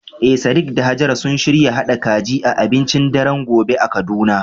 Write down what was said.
Eh sadiq da hajara sun shirya haɗa kaji a abincin daren gobe a kaduna.